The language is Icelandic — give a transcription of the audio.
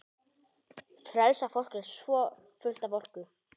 Frelsað fólk er svo fullt af orku.